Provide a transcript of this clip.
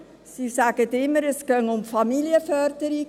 Sie sagen immer, es gehe um Familienförderung.